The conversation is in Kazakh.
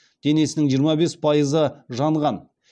денесінің жиырма бес пайызы жанған